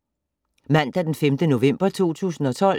Mandag d. 5. november 2012